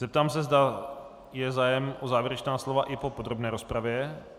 Zeptám se, zda je zájem o závěrečná slova i po podrobné rozpravě.